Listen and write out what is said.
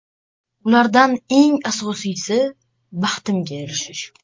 Ulardan eng asosiysi – baxtimga erishish.